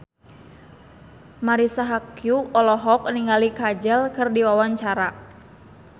Marisa Haque olohok ningali Kajol keur diwawancara